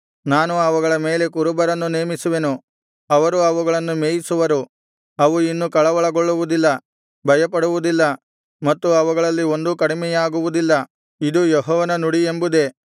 ನಾನು ಅವುಗಳ ಮೇಲೆ ಕುರುಬರನ್ನು ನೇಮಿಸುವೆನು ಅವರು ಅವುಗಳನ್ನು ಮೇಯಿಸುವರು ಅವು ಇನ್ನು ಕಳವಳಗೊಳ್ಳುವುದಿಲ್ಲ ಭಯಪಡುವುದಿಲ್ಲ ಮತ್ತು ಅವುಗಳಲ್ಲಿ ಒಂದೂ ಕಡಿಮೆಯಾಗುವುದಿಲ್ಲ ಇದು ಯೆಹೋವನ ನುಡಿ ಎಂಬುದೇ